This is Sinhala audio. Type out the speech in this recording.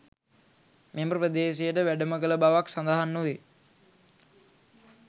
මෙම ප්‍රදේශයට වැඩම කළ බවක් සඳහන් නොවේ.